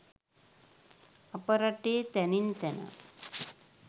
අප රටේ තැනින් තැන